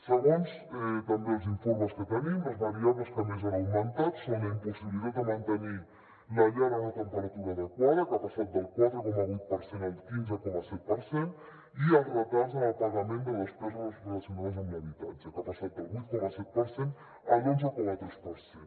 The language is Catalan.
segons també els informes que tenim les variables que més han augmentat són la impossibilitat de mantenir la llar a una temperatura adequada que ha passat del quatre coma vuit per cent al quinze coma set per cent i els retards en el pagament de despeses relacionades amb l’habitatge que ha passat del vuit coma set per cent a l’onze coma tres per cent